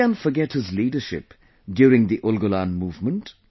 Who can forget his leadership during the Ulgulan movement